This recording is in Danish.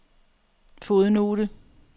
fodnote